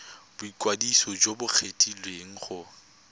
boikwadiso jo bo kgethegileng go